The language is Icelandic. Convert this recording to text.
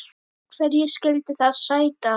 Hverju skyldi það sæta?